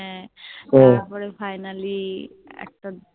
হ্যাঁ তারপরে Finally একটা